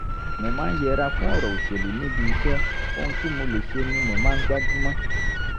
mo máa ń yẹra fún ọ̀rọ̀ òṣèlú níbi iṣẹ́ ohun tí mo lè ṣe ni mo máa ń gbájú mọ́